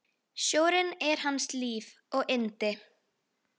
Sjórinn er hans líf og yndi!